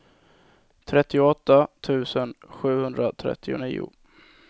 trettioåtta tusen sjuhundratrettionio